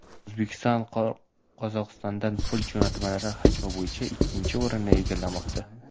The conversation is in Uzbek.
O‘zbekiston Qozog‘istondan pul jo‘natmalari hajmi bo‘yicha ikkinchi o‘rinni egallamoqda.